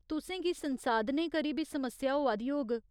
तुसें गी संसाधनें करी बी समस्या होआ दी होग।